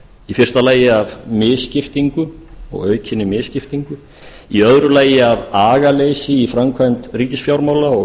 í fyrsta lagi af misskiptingu aukinni misskiptingu í öðru lagi af agaleysi í framkvæmd ríkisfjármála og